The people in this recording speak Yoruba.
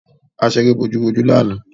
A ṣeré bojú-bojú ni àná.